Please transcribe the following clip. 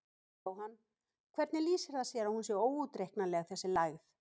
Jóhann: Hvernig lýsir það sér að hún sé óútreiknanleg þessi lægð?